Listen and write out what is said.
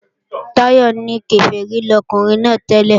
Táyọ̀ ní Kèfèrí lọkùnrin náà tẹ́lẹ̀